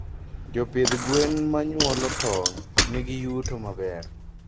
Japdh gwen manyuolo tong nigi yuto maber.